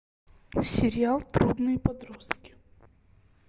сериал трудные подростки